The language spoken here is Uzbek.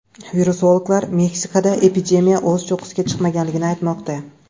Virusologlar Mexikoda epidemiya o‘z cho‘qqisiga chiqmaganligini aytmoqda.